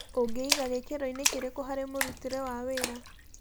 ũngĩiga gĩkĩroinĩ kĩrĩkũ harĩ mũrutĩre wa wĩra?